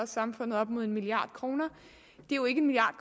samfundet op mod en milliard kroner det er jo ikke en milliard